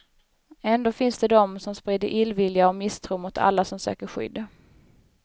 Ändå finns det dom, som sprider illvilja och misstro mot alla som söker skydd.